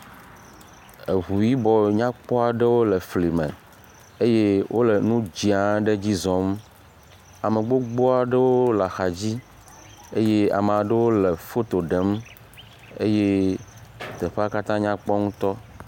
Eŋu yibɔ nyakpɔ aɖewo le fli me eye wole nu dzia ɖe dzi zɔm. Ame gbogbo aɖewo le axa dzi eye ame aɖewo le foto ɖem eye teƒea katã nyakpɔ ŋutɔ.